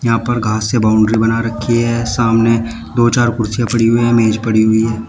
यहां पर घास से बाउंड्री बना रखी है सामने दो चार कुर्सीयां पड़ी हुई मेज पड़ी हुई है।